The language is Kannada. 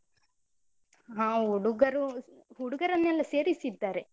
ಹ ಹುಡುಗರು ಹುಡುಗರನ್ನೆಲ್ಲ ಸೇರಿಸಿದ್ದಾರೆ.